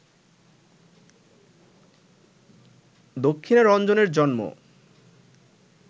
দক্ষিণারঞ্জনের জন্ম